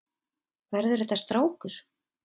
Verður þetta strákur?